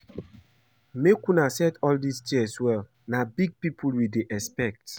Make una set all dis chairs well na big people we dey expect